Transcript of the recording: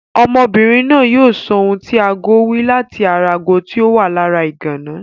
Ọmọbìnrin náà yóò sọ ohun tí agó wí láti ara ago tí ó wà lára ìgànná.